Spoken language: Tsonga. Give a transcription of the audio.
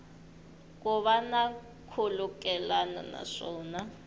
ku va na nkhulukelano naswona